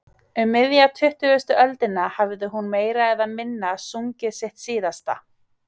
Um miðja tuttugustu öldina hafði hún meira eða minna sungið sitt síðasta.